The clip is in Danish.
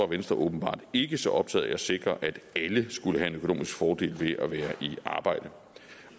venstre åbenbart ikke så optaget af at sikre at alle skulle have en økonomisk fordel ved at være i arbejde